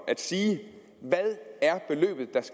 at sige